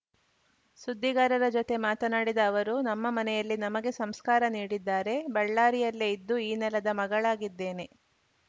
ಸುದ್ದಿಗಾರರ ಜತೆ ಮಾತನಾಡಿದ ಅವರು ನಮ್ಮ ಮನೆಯಲ್ಲಿ ನಮಗೆ ಸಂಸ್ಕಾರ ನೀಡಿದ್ದಾರೆ ಬಳ್ಳಾರಿಯಲ್ಲೇ ಇದ್ದು ಈ ನೆಲದ ಮಗಳಾಗಿದ್ದೇನೆ